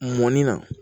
Mɔnni na